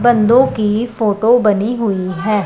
बंदों की फोटो बनी हुई है।